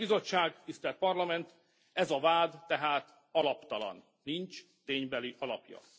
Tisztelt Bizottság, tisztelt Parlament, ez a vád tehát alaptalan, nincs ténybeli alapja.